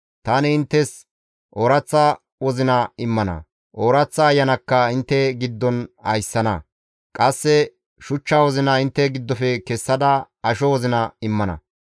Tani inttes ooraththa wozina immana; ooraththa ayanakka intte ta giddon ayssana; qasse shuchcha wozina intte giddofe kessada asho wozina immana.